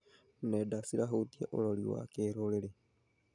Nenda cirahutia ũrori wa kĩrũrĩrĩ.